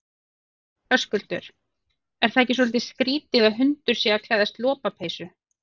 Höskuldur: Er það ekki svolítið skrítið að hundur sé að klæðast lopapeysu?